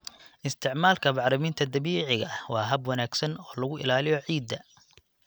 Isticmaalka bacriminta dabiiciga ah waa hab wanaagsan oo lagu ilaaliyo ciidda.